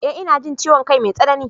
eh ina jin ciwon kai mai tsanani